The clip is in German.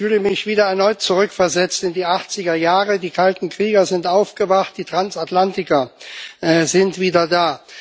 Ich fühle mich wieder erneut zurückversetzt in die Achtzigerjahre Die kalten Krieger sind aufgewacht, die Transatlantiker sind wieder da.